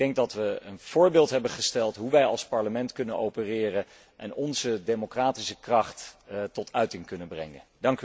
Ik denk dat we een voorbeeld hebben gesteld hoe wij als Parlement kunnen opereren en onze democratische kracht tot uiting kunnen brengen.